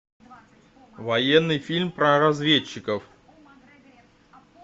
военный фильм про разведчиков